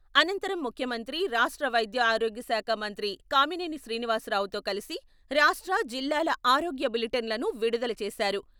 అనంతరం ముఖ్యమంత్రి రాష్ట్ర వైద్య ఆరోగ్య శాఖ మంత్రి కామినేని శ్రీనివాసరావు తో కలిసి రాష్ట్ర, జిల్లాల ఆరోగ్య బులెటిన్లను విడుదల చేశారు.